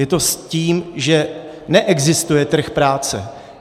Je to s tím, že neexistuje trh práce.